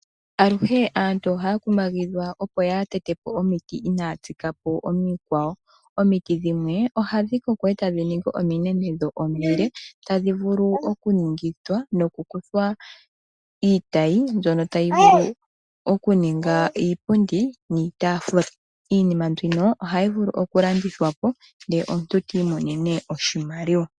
Aluhe aantu ohaya kumagidhwa opo yaa tete po omiti inaya tsika po omikwao. Omiti dhimwe ohadhi koko, eta dhi ningi ominene dho omile, tadhi vulu oku ningithwa noku kuthwa iitayi mbyono tayi vulu oku ninga iipundi niitaafula. Iinima mbino ohayi vulu oku landithwa po nde omuntu ti imonene oshimaliwa.